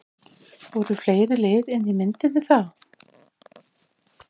Voru fleiri lið inni í myndinni þá?